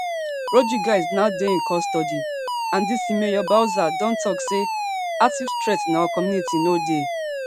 rodriguez now dey in custody and dc mayor bowser don tok say active threat in our community no dey